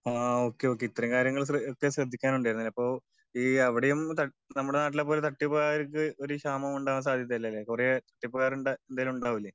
Okay okay ഇത്രേം കാര്യങ്ങൾ ഒക്കെ ശ്രദ്ധിക്കാൻ ഉണ്ടായിരുന്നല്ലേ? അപ്പൊ ഈ അവിടേം നമ്മുടെ നാട്ടിലെ പോലെ തട്ടിപ്പായവർക്ക് ഒരു ക്ഷാമവും ഉണ്ടാവാൻ സാധ്യത ഇല്ലല്ലേ? കൊറേ തട്ടിപ്പ്കാരൊക്കെ എന്തായാലും ഉണ്ടാവുമല്ലേ?